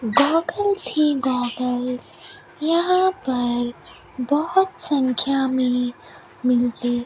goggles ही goggles यहां पर बहोत संख्या में मिलते --